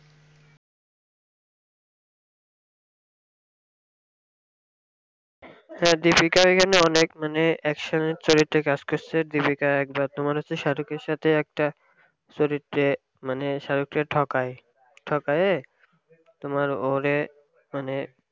হ্যাঁ deepika এখানে অনেক মানে action এর চরিত্রে কাজ করসে deepika একবার তোমার হচ্ছে shahrukh এর সাথে একটা চরিত্রে মানে shahrukh কে ঠকাই ঠকায়ে তোমার ওরে মানে